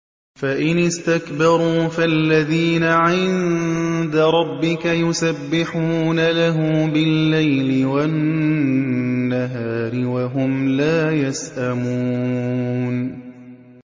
فَإِنِ اسْتَكْبَرُوا فَالَّذِينَ عِندَ رَبِّكَ يُسَبِّحُونَ لَهُ بِاللَّيْلِ وَالنَّهَارِ وَهُمْ لَا يَسْأَمُونَ ۩